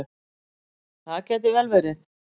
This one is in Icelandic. Það gæti vel verið.